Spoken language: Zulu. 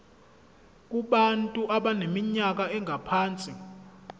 kubantu abaneminyaka engaphansi